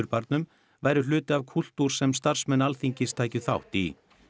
Klausturbarnum væru hluti af kúltúr sem starfsmenn Alþingis tækju þátt í